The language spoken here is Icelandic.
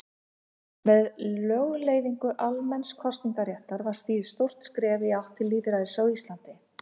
Með lögleiðingu almenns kosningaréttar var stigið stórt skref í átt til lýðræðis á Íslandi.